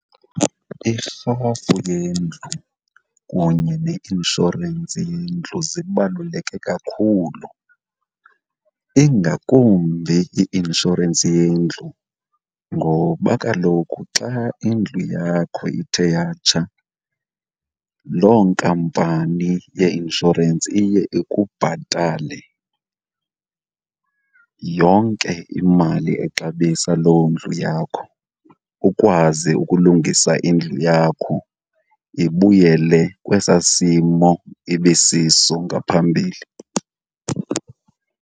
Irhafu yendlu kunye neinshorensi yendlu zibaluleke kakhulu, ingakumbi i-inshorensi yendlu ngoba kaloku xa indlu yakho ithe yatshata loo nkampani yeinshorensi iye ikubhatale yonke imali exabisa loo ndlu yakho ukwazi ukulungisa indlu yakho ibuyele kwesaa simo ibisiso ngaphambili.